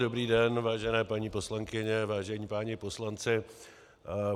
Dobrý den, vážené paní poslankyně, vážení páni poslanci.